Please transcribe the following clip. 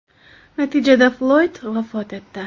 Natijada Floyd vafot etdi.